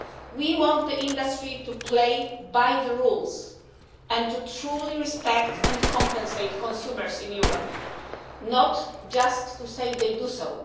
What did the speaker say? We want the industry to play by the rules and to truly respect and compensate consumers in Europe, not just to say they do so.